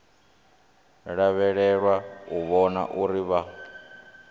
lavhelelwa u vhona uri vha